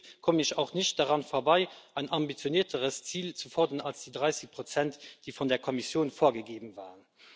Somit komme ich auch nicht daran vorbei, ein ambitionierteres Ziel zu fordern als die 30 die von der Kommission vorgegeben waren.